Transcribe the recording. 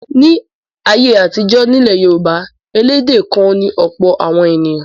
Ní ayé àtijọ́ nílẹ̀ Yorùbá elédè kan ni ọ̀pọ̀ àwọn ènìyàn.